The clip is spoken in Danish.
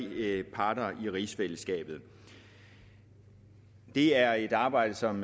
partnere i rigsfællesskabet det er et arbejde som